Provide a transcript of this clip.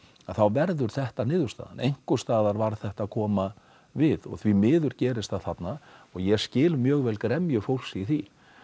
þá verður þetta niðurstaðan einhvers staðar varð þetta að koma við og því miður gerist það þarna og ég skil mjög vel gremju fólks í því